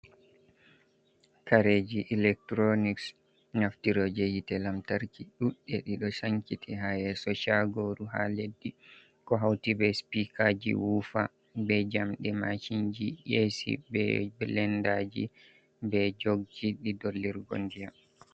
Kareji ilectronics naftiroje hite lamtarki ɗuɗɗe ɗiɗo sankiti ha yeso chagoru haa leddi. Ko hauti be sipikaji wufa, be jamɗe macinji, esi, be blendaji, be jogji je dollirgo ndiyam.